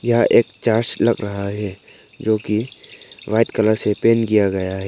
यह एक चर्च लग रहा है जोकि वाइट कलर से पेंट किया गया है।